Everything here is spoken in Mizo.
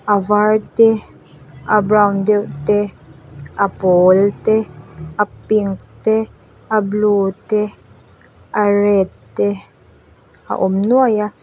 a var te a brown deuh te a pawl te a pink te a blue te a red te a awm nuai a.